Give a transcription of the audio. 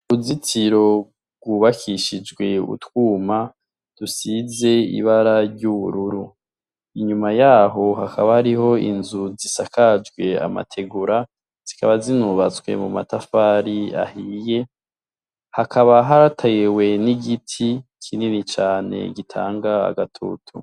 Uruzitiro rwubakishijwe utwuma dusize ibara ry'ubururu, inyuma yaho hakaba hariho inzu zisakajwe amategura zikaba zinubatswe mumatafari ahiye hakaba hatewe n'igiti kinini cane gitanga agatutu.